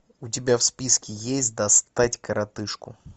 у тебя в списке есть достать коротышку